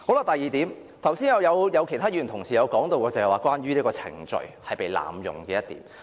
第二點，剛才也有其他議員提及，是關於程序被濫用這點。